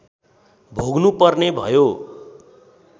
भोग्नुपर्ने भयो